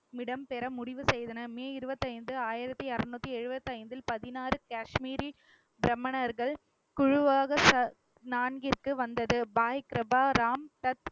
இடம் பெற முடிவு செய்தன. மே இருபத்தி ஐந்து, ஆயிரத்தி அறுநூத்தி எழுபத்தி ஐந்தில் பதினாறு காஷ்மீரில் பிராமணர்கள் குழுவாக ச ~ நான்கிற்கு வந்தது. பாய் கிரபா ராம் சத்~